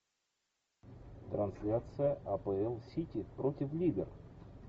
трансляция апл сити против ливер